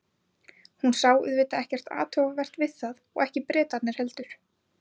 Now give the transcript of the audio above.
Hún sá auðvitað ekkert athugavert við það og Bretarnir ekki heldur.